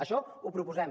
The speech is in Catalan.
això ho proposem